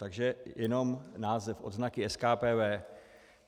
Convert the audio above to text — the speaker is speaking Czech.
Takže jenom název: odznaky SKPV.